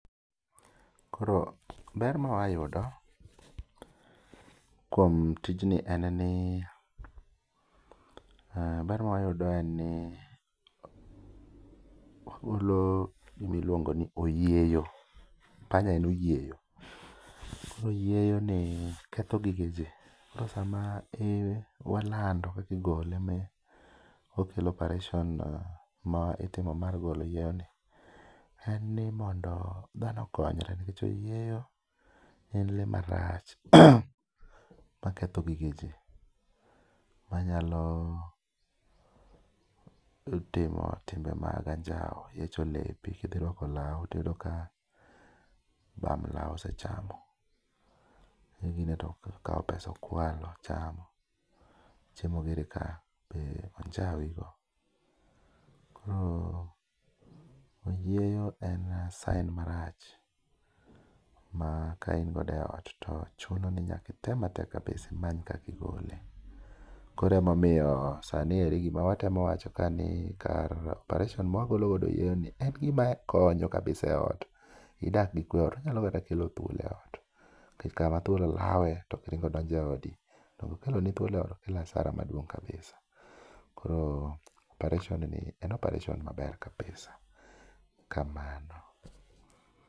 Koro ber mawa yudo kuom tijni en ni, ber ma wayudo en ni wagolo gimiluongo ni oyieyo, panya en oyieyo. Koro oyieyo ni ketho gige ji, koro sama i walando kakigole mi okel operation ma itimo mar golo oyieyo ni. En ni mondo dhano okonyre nikech oyieyo en lee marach ma ketho gige ji. Ma nyalo timo timbe mag anjawo, yiecho lepi, rwako lawu, kidhi rwako lawu tiyudo ka bam lawu osechamo. Igine to okawo pesa okwalo ochamo, chiemo giri ka be onjawi go. Koro oyieyo en sign marach ma kain godo eot to chuno ni nyakitem matek kabisa imany kakigole. Koro emomiyo sani eri gima watemo wacho ka ni kar operation mwa gologodo oyieyo ni en gima konyo kabisa e ot. Idak gi kwe e ot, onyalo kata kelo thuol e ot, kech kama thuol lawe to kiringo idonje odi. Donge okelo ni thuol e ot, okelo asara maduong' kabisa. Koro operation ni en opareshon maber ahinya kabisa.